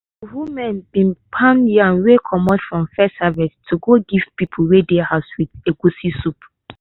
de women bin pound yam wey comot from first harvest to give people wey come house with egwusi soup.